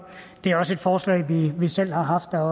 det er også et forslag vi selv har haft og